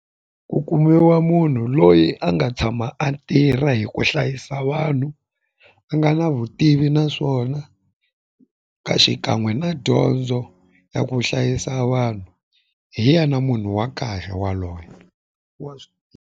Ku kumiwa munhu loyi a nga tshama a tirha hi ku hlayisa vanhu a nga na vutivi naswona ka xikan'we na dyondzo ya ku hlayisa vanhu hi ya na munhu wa kahle waloye wa .